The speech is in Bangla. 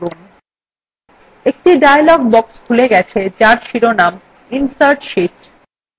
একটি dialog box খুলে গেছে যার শিরোনাম insert sheet